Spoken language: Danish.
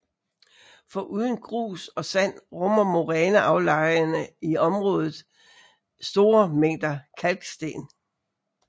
Foruden grus og sand rummer moræneaflejringerne i området store mængder kalksten